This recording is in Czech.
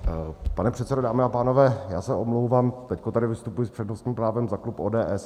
Pane předsedo, dámy a pánové, já se omlouvám, teď tady vystupuji s přednostním právem za klub ODS.